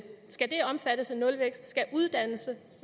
skal det omfattes af nulvækst skal uddannelse